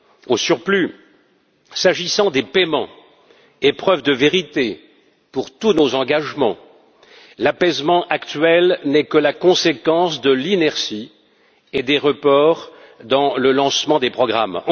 Au surplus, s'agissant des paiements, épreuve de vérité pour tous nos engagements, l'apaisement actuel n'est que la conséquence de l'inertie et des reports dans le lancement des programmes.